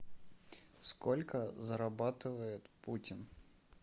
сколько зарабатывает путин